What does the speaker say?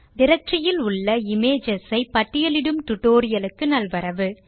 directory இலுள்ள images ஐ பட்டியலிடும் டியூட்டோரியல் க்கு நல்வரவு